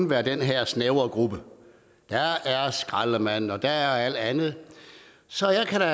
være den her snævre gruppe der er skraldemænd og der er alt andet så jeg kan da